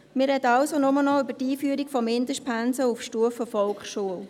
Wir sprechen also nur noch über die Einführung von Mindestpensen auf Stufe Volksschule.